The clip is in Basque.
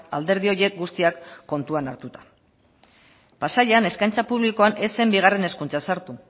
alderdi horiek guztiak kontuan hartuta pasaian eskaintza publikoan ez zen bigarren hezkuntza sartu